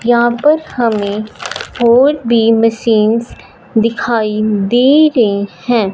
यहां पर हमें और भी मशीनस दिखाई दे रही हैं।